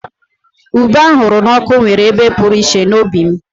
Ube ahuru na oku nwere ebe pụrụ iche n'obi m